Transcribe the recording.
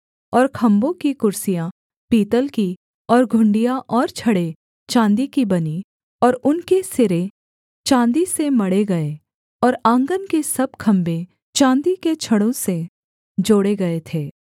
और खम्भों की कुर्सियाँ पीतल की और घुंडियाँ और छड़ें चाँदी की बनीं और उनके सिरे चाँदी से मढ़े गए और आँगन के सब खम्भे चाँदी के छड़ों से जोड़े गए थे